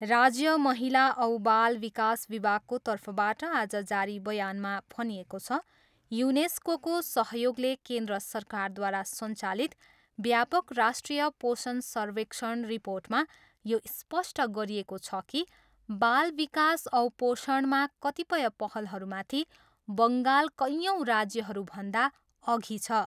राज्य महिला औ बाल विकास विभागको तर्फबाट आज जारी बयानमा भनिएको छ, युनेस्कोको सहयोगले केन्द्र सरकारद्वारा सञ्चालित व्यापक राष्ट्रिय पोषण सर्वेक्षण रिर्पोटमा यो स्पष्ट गरिएको छ कि बालविकास औ पोषणमा कतिपय पहलहरूमाथि बङ्गाल कयौँ राज्यहरूभन्दा अघि छ।